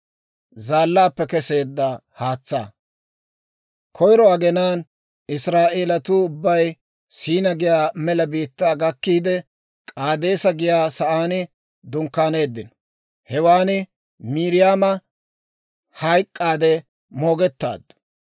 Koyro aginaan Israa'eelatuu ubbay S'iina giyaa mela biittaa gakkiide, K'aadeesa giyaa saan dunkkaaneeddino. Hewaan Miiriyaama hayk'k'aade moogettaaddu.